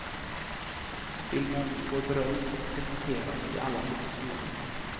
Filmen får beröm och presenteras i alla massmedia.